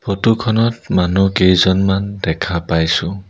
Photo খনত মানুহ কেইজনমন দেখা পাইছোঁ।